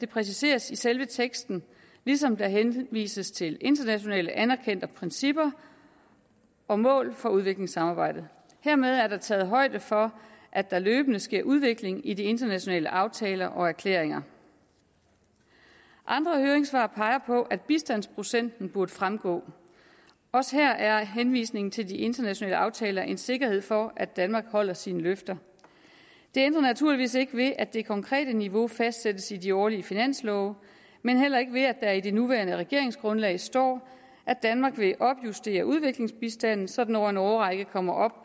præciseres i selve teksten ligesom der henvises til internationalt anerkendte principper og mål for udviklingssamarbejdet hermed er der taget højde for at der løbende sker udvikling i de internationale aftaler og erklæringer andre høringssvar peger på at bistandsprocenten burde fremgå også her er henvisningen til de internationale aftaler en sikkerhed for at danmark holder sine løfter det ændrer naturligvis ikke ved at det konkrete niveau fastsættes i de årlige finanslove men heller ikke ved at der i det nuværende regeringsgrundlag står at danmark vil opjustere udviklingsbistanden så den over en årrække kommer op